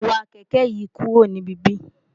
wa kẹ̀kẹ́ yìí kúrò níbí!